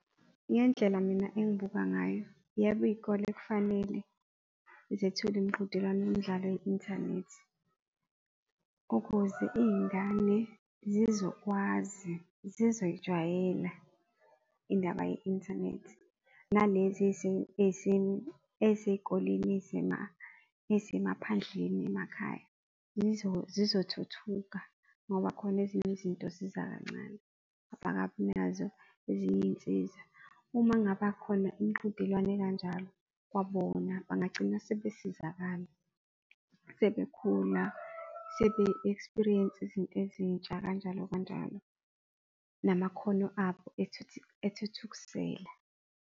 Ngendlela mina engibuka ngayo, yebo, iyikole kufanele zethule imiqhudelwano yemidlalo ye-inthanethi, ukuze iyingane zizokwazi zizoyijwayela indaba ye-inthanethi, nalezi eziyikoleni eyisemaphandleni emakhaya. Zizokuthuthuka ngoba khona ezinye izinto ziza kancane, akabinazo ezinye iy'nsiza. Uma ngaba khona imiqhudelwano ekanjalo, kwabona bangagcina sebe sizakala sebekhuluma sebe-experience-a izinto ezintsha kanjalo, kanjalo, nakhona ethuthukiselwa.